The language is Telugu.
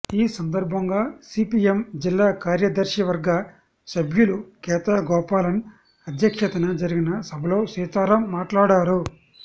ఈ సందర్భంగా సిపిఎం జిల్లా కార్యదర్శివర్గ సభ్యులు కేతా గోపాలన్ అధ్యక్షతన జరిగిన సభలో సీతారాం మాట్లాడారు